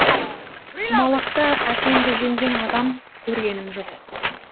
құмалақта әкемді жеңген адам көргенім жоқ